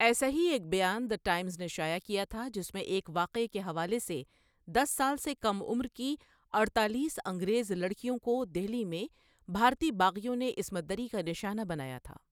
ایسا ہی ایک بیان دی ٹائمز نے شائع کیا تھا، جس میں ایک واقعے کے حوالے سے دس سال سے کم عمر کی اڑتالیس انگریز لڑکیوں کو دہلی میں بھارتی باغیوں نے عصمت دری کا نشانہ بنایا تھا۔